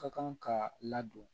Ka kan ka ladon